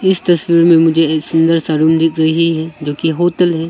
इस तस्वीर में मुझे एक सुंदर सा रूम दिख रही है जो की होटल है।